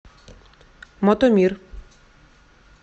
мотомир